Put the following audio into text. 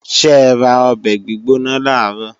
Ṣẹra ọbẹ̀ gbígbóná làárọ̀?